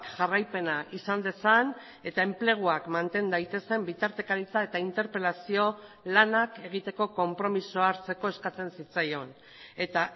jarraipena izan dezan eta enpleguak manten daitezen bitartekaritza eta interpelazio lanak egiteko konpromisoa hartzeko eskatzen zitzaion eta